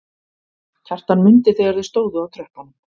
Kjartan mundi þegar þau stóðu á tröppunum.